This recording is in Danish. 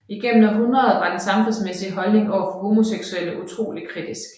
Igennem århundredet var den samfundsmæssige holdning overfor homoseksuelle utrolig kritisk